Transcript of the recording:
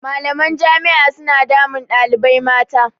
Malaman jami'a suna damun ɗalibai mata.